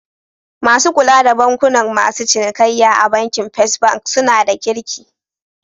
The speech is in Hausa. Masu kula da bukatun masu cinikayya a bankin first bank suna da kirki.